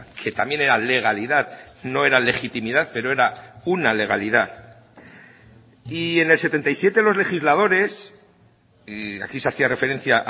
que también era legalidad no era legitimidad pero era una legalidad y en el setenta y siete los legisladores y aquí se hacía referencia